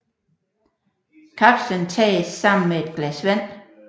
Kapslen tages sammen med et glas vand